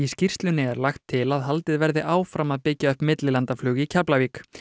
skýrslunni er lagt til að haldið verði áfram að byggja upp millilandaflug í Keflavík